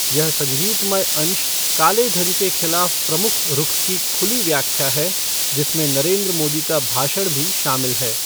यह संगीतमय अंश काले धन के खिलाफ प्रमुख रुख की खुली व्याख्या है जिसमें नरेंद्र मोदी का भाषण भी शामिल है।